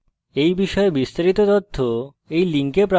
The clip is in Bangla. এই বিষয়ে বিস্তারিত তথ্য এই link প্রাপ্তিসাধ্য